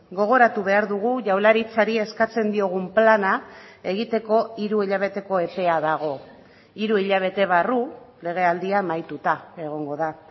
gogoratu behar dugu jaurlaritzari eskatzen diogun plana egiteko hiru hilabeteko epea dago hiru hilabete barru legealdia amaituta egongo da